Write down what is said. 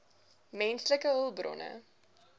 menslike hulpbronne